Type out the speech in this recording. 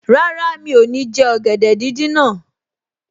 Rárá, mi ò ní jẹ ọ̀gẹ̀dẹ̀ díndín náà